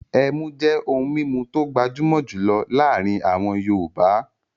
Ẹmú jẹ́ ohun mímu tó gbajúmọ̀ jùlọ láàrin àwọn yọọ̀bá